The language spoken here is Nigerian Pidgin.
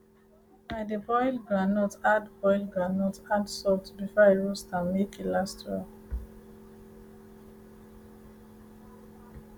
i dey boil groundnut add boil groundnut add salt before i roast am make e last well